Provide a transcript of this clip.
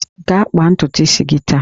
Gaa kpaa ntutu isi gị taa!